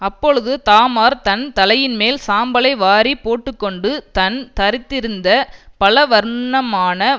அப்பொழுது தாமார் தன் தலையின்மேல் சாம்பலை வாரிப் போட்டுகொண்டு தன் தரித்திருந்த பலவர்ணமான